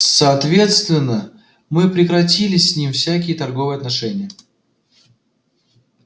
соответственно мы прекратили с ним всякие торговые отношения